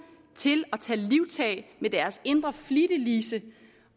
til at tage livtag med deres indre flittiglise